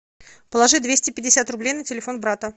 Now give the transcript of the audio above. положи двести пятьдесят рублей на телефон брата